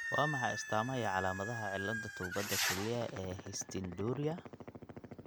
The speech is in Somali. Waa maxay astamaha iyo calaamadaha cilladda tuubada kelyaha ee Histidinuria?